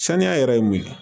Saniya yɛrɛ ye mun ye